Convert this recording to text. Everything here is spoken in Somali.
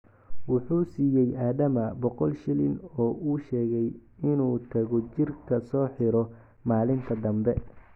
Wuxuu siiyey Adama boqol shilin oo u sheegay inuu tago jirka soo xiro maalinta dambe.